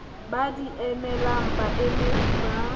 ba di emelang baemedi ba